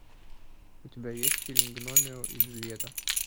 у тебя есть фильм гномео и джульетта